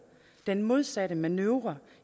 den modsatte manøvre